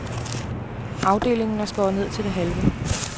Afdelingen er skåret ned til det halve.